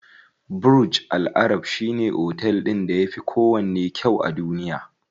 Burj Al arab shine otel ɗin da yafi kowanne kyau a duniya.